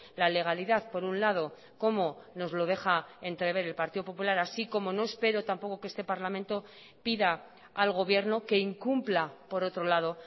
la legalidad por un lado como nos lo deja entrever el partido popular así como no espero tampoco que este parlamento pida al gobierno que incumpla por otro lado